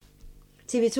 TV 2